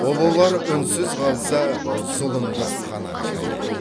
ұлылар үнсіз қалса зұлымдық қанат жаяр